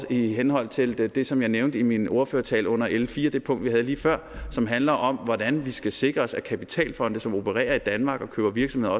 i henhold til det det som jeg nævnte i min ordførertale under l fire det punkt vi havde lige før som handler om hvordan vi skal sikre os at kapitalfonde som operer i danmark og køber virksomheder